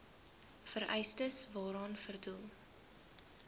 vereistes waaraan voldoen